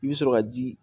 I bɛ sɔrɔ ka ji